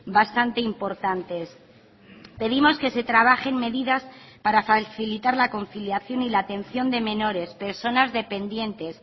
bastante importantes pedimos que se trabajen medidas para facilitar la conciliación y la atención de menores personas dependientes